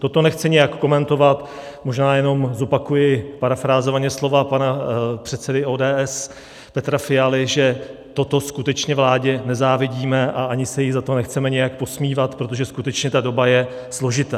Toto nechci nijak komentovat, možná jenom zopakuji parafrázovaně slova pana předsedy ODS Petra Fialy, že toto skutečně vládě nezávidíme a ani se jí za to nechceme nějak posmívat, protože skutečně ta doba je složitá.